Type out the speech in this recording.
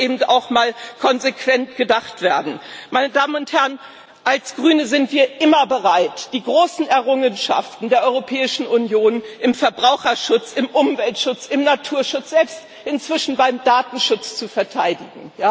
Aber es muss eben auch mal konsequent gedacht werden. Als Grüne sind wir immer bereit, die großen Errungenschaften der Europäischen Union im Verbraucherschutz, im Umweltschutz, im Naturschutz, selbst inzwischen beim Datenschutz zu verteidigen.